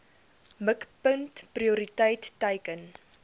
mikpunt prioriteit teiken